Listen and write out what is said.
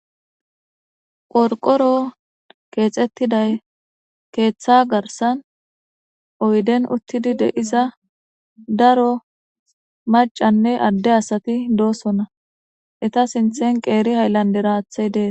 Qorqqoro kexxetida keththa gaarssan oydden uttida deiza daaro maccaynne adde asati dossona eeta sinththan qeeri hayilanddera haththey dessi.